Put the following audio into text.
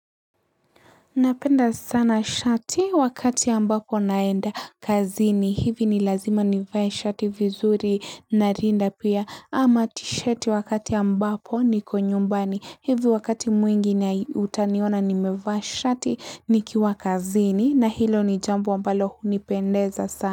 Napenda sana shati wakati ambapo naenda kazini hivi ni lazima nivae shati vinzuri narinda pia ama tisheti wakati ambapo niko nyumbani hivi wakati mwingi nai utaniona nimevaa shati nikiwa kazini na hilo ni jambo mbalo hunipendeza sa.